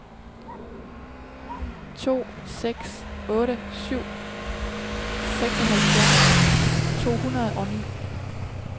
to seks otte syv seksoghalvfjerds to hundrede og ni